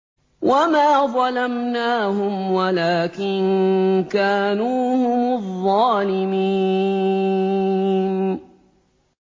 وَمَا ظَلَمْنَاهُمْ وَلَٰكِن كَانُوا هُمُ الظَّالِمِينَ